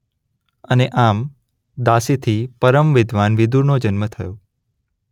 અને આમ દાસીથી પરમ વિદ્વાન વિદુરનો જન્મ થયો.